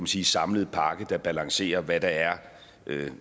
sige samlede pakke der balancerer hvad der er